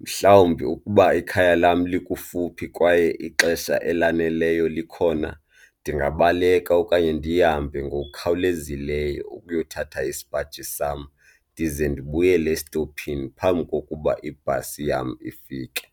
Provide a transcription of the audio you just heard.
Mhlawumbi ukuba ikhaya lam likufuphi kwaye ixesha elaneleyo likhona ndingabaleka okanye ndihambe ngokukhawulezileyo ukuyothatha isipaji sam ndize ndibuyele esitophini phambi kokuba ibhasi yam ifike.